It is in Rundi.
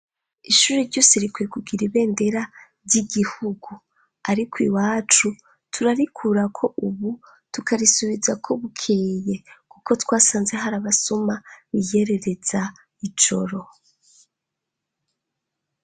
Ishuri ryose rikweye kugira ibendera ry'igihugu ariko iwacu turarikurako ubu tukarisubizako bukeye kuko twasanze hari abasuma biyerereza ijoro.